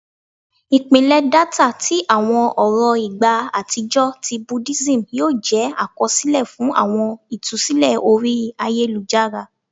Ipilẹ data ti awọn ọrọ igba atijọ ti Budism yoo jẹ akọsilẹ fun awọn itusilẹ ori ayelujara